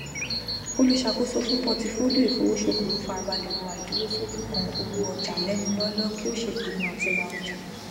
olùṣàkóso fún pọtifólíò ìfowosokowo farabalẹ wo àìdúró ṣójú kan owó ọjà lẹnu lọọlọ kí ó ṣèpinnu àti ra ọjà